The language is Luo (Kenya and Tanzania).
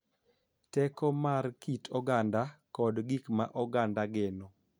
Teko mar kit oganda kod gik ma oganda geno